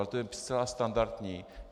Ale to je zcela standardní.